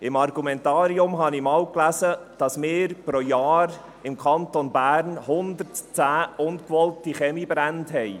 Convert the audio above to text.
Im Argumentarium habe ich einmal gelesen, dass wir im Kanton Bern pro Jahr 110 ungewollte Kaminbrände haben.